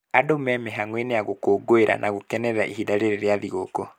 Andũ me mĩhango-inĩ ya gũkũngũĩra na gũkenerera ihinda rĩrĩ rĩa thĩgũkũ